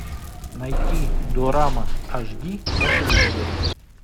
найти дорама аш ди на телевизоре